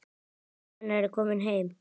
Mamma hennar er komin heim.